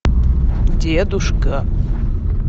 дедушка